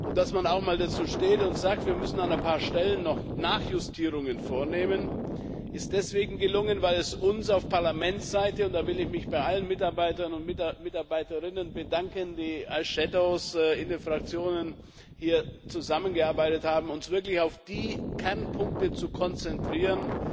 Dass man auch mal dazu steht und sagt Wir müssen an ein paar Stellen noch Nachjustierungen vornehmen, ist deswegen gelungen, weil es uns auf Parlamentsseite und da will ich mich bei allen Mitarbeitern und Mitarbeiterinnen bedanken, die als Schattenberichterstatter in den Fraktionen hier zusammengearbeitet haben wirklich gelungen ist, uns auf die Kernpunkte zu konzentrieren,